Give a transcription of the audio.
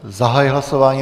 Zahajuji hlasování.